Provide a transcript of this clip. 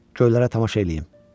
Göylərə tamaşa eləyim.